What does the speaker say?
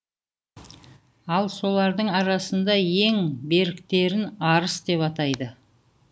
ал солардың арасында ең беріктерін арыс деп атайды